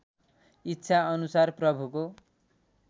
इच्छा अनुसार प्रभुको